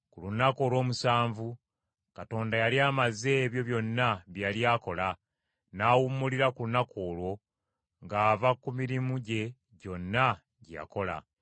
Ku lunaku olw’omusanvu Katonda yali amaze ebyo byonna bye yali akola; n’awummulira ku lunaku olwo ng’ava ku mirimu gye gyonna gye yakola.